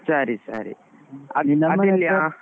ಸರಿ ಸರಿ. .